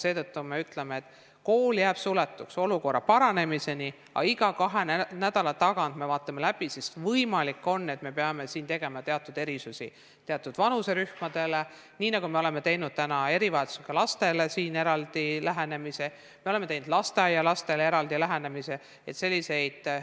Seetõttu me ütleme, et kool jääb suletuks olukorra paranemiseni, aga iga kahe nädala tagant me vaatame selle läbi, sest võimalik on, et me peame siin tegema teatud erisusi teatud vanuserühmadele, nii nagu me oleme teinud täna erivajadustega lastele eraldi lähenemise, me oleme teinud lasteaialastele eraldi lähenemise.